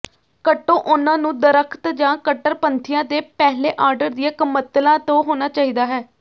ਕੱਟੋ ਉਨ੍ਹਾਂ ਨੂੰ ਦਰੱਖਤ ਜਾਂ ਕੱਟੜਪੰਥੀਆਂ ਦੇ ਪਹਿਲੇ ਆਰਡਰ ਦੀਆਂ ਕਮਤਲਾਂ ਤੋਂ ਹੋਣਾ ਚਾਹੀਦਾ ਹੈ